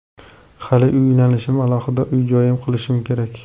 Hali uylanishim, alohida uy-joy qilishim kerak.